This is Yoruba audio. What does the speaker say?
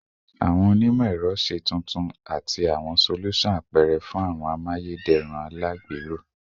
Awọn onimọ-ẹrọ, ṣe tuntun ati awọn solusan apẹrẹ fun awọn amayederun alagbero